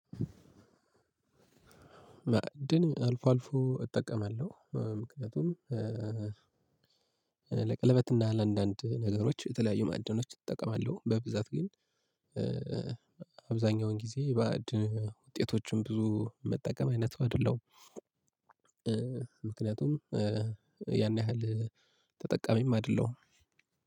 እድል አልፎ አልፎ እጠቀማለሁ ምክንያቱም ለቀለበትና ለ አንዳንድ ነገሮች የተለያዩ ማእድኖች እጠቀማለሁ። በብዛት ግን አብዛኛውን ጊዜ የባእድ ውጤቶችን ብዙ የምጠቀም አይነት ሰው አይደለም። ምክንያቱም ያን ያህል ተጠቃሚም አይደለሁም።